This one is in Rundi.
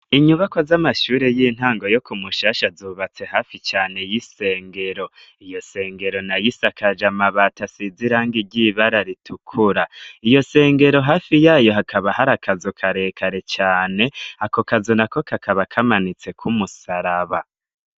Inyubako z'amashuri y'intango yo ku Mushasha zubatse hafi cane y'isengero. Iyo sengero nayo isakaje amabati asize irangi ry'ibara ritukura. Iyo sengero hafi yayo hakaba hari akazu karekare cane ako kazu na ko kakaba kamanitse ko umusaraba.